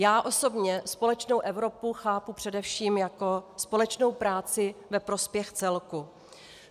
Já osobně společnou Evropu chápu především jako společnou práci ve prospěch celku.